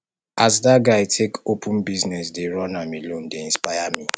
as dat guy take open business dey run am alone dey inspire me